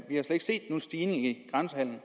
stigning i grænsehandelen